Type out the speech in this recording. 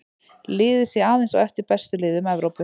Liðið sé aðeins á eftir bestu liðum Evrópu.